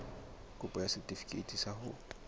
kopo ya setefikeiti sa ho